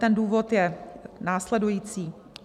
Ten důvod je následující.